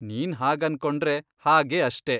ನೀನ್ ಹಾಗನ್ಕೊಂಡ್ರೆ ಹಾಗೆ ಅಷ್ಟೇ.